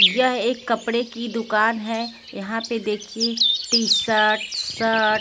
यह एक कपड़े की दुकान है यहां पे देखिए टी-शर्ट शर्ट --